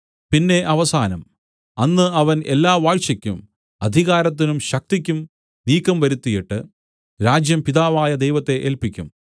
പിന്നെ അവസാനം അന്ന് അവൻ എല്ലാ വാഴ്ചയ്ക്കും അധികാരത്തിനും ശക്തിക്കും നീക്കം വരുത്തിയിട്ട് രാജ്യം പിതാവായ ദൈവത്തെ ഏല്പിക്കും